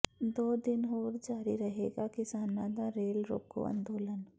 ਦੋ ਦਿਨ ਹੋਰ ਜਾਰੀ ਰਹੇਗਾ ਕਿਸਾਨਾਂ ਦਾ ਰੇਲ ਰੋਕੋ ਅੰਦੋਲਨ